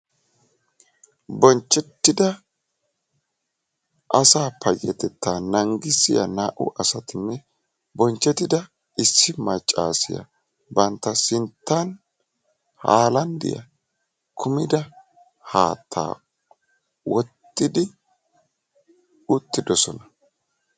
bonchchetida asaa payyatetta naangissiya naa''u asatinne bonchchetida issi maccassiya bantta sinttan haalanddiya kummida haatta wottidi uttioosona.